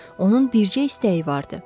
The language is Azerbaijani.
Onun bircə istəyi vardı.